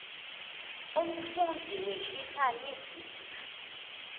umfundzi wehlisa lizinga